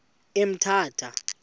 emthatha